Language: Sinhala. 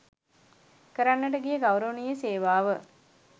කරන්නට ගිය ගෞරවනීය සේවාව